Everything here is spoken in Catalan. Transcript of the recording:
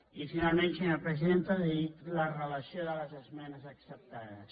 i finalment senyora presidenta li dic la relació de les esmenes acceptades